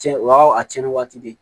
Cɛn o y'a a cɛnni waati de